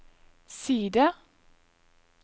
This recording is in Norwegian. side